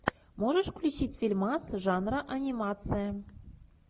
можешь включить фильмас жанра анимация